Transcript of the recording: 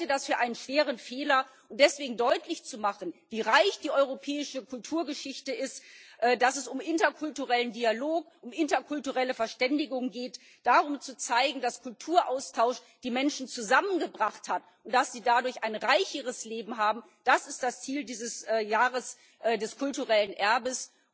Ich halte das für einen schweren Fehler. Deswegen deutlich zu machen, wie reich die europäische Kulturgeschichte ist, dass es um interkulturellen Dialog und interkulturelle Verständigung geht, darum, zu zeigen, dass Kulturaustausch die Menschen zusammengebracht hat und dass sie dadurch ein reicheres Leben haben, das ist das Ziel dieses Jahres des kulturellen Erbes.